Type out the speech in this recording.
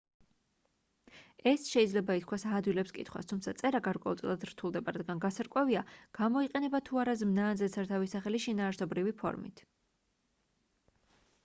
ეს შეიძლება ითქვას აადვილებს კითხვას თუმცა წერა გარკვეულწილად რთულდება რადგან გასარკვევია გამოიყენება თუ არა ზმნა ან ზედსართავი სახელი შინაარსობრივი ფორმით